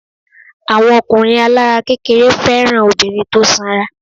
Àwọn ọkùnrin alára kékeré fẹ́ràn obìnrin tó sanra.